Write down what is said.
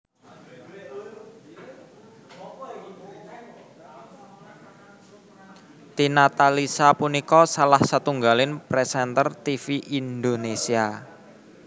Tina Talisa punika salah setunggaling présènter tivi Indonésia